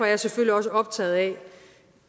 jeg selvfølgelig også optaget af